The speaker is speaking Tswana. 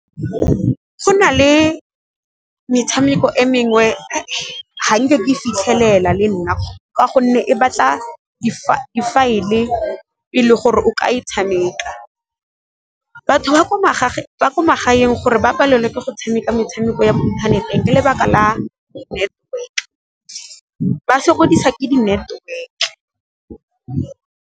Go na le metshameko e mengwe ga nke ke fitlhelela le nna ka gonne e batla di-file e le gore o ka e tshameka. Batho ba ko magaeng gore ba palelwe ke go tshameka metshameko ya mo inthaneteng ke lebaka la network ba sokodisa ke di-network.